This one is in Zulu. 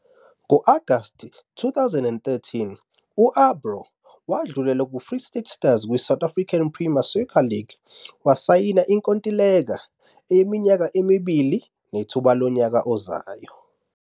Ngo-Agasti 2013, u-Abraw wadlulela kuFree State Stars kwiSouth African Premier Soccer League, wasayina inkontileka yeminyaka emibili nethuba lonyaka ozayo.